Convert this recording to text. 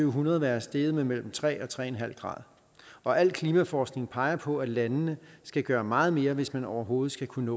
hundrede være steget med mellem tre og tre grad og al klimaforskning peger på at landene skal gøre meget mere hvis man overhovedet skal kunne